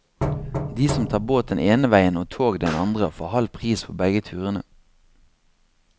De som tar båt den ene veien og tog den andre, får halv pris på begge turene.